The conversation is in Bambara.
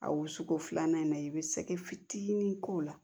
A wusuko filanan in na i bɛ sɛgɛ fitinin k'o la